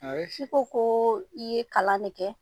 ko i ye kalan ne kɛ